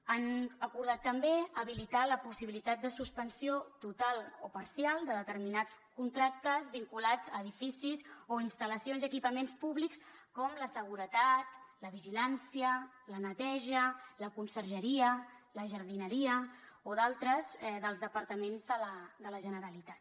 han acordat també habilitar la possibilitat de suspensió total o parcial de determinats contractes vinculats a edificis o instal·lacions i equipaments públics com la seguretat la vigilància la neteja la consergeria la jardineria o d’altres dels departaments de la generalitat